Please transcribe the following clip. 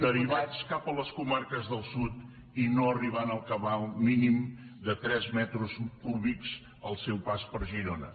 derivats cap a les comarques del sud i no arribant al cabal mínim de tres metres cúbics al seu pas per girona